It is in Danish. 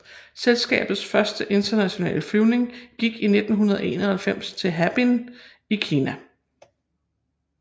Selskabets første internationale flyvning gik i 1991 til Harbin i Kina